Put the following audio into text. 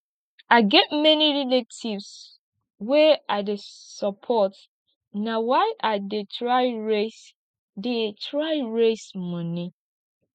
i get many relatives wey i dey support na why i dey try raise dey try raise moni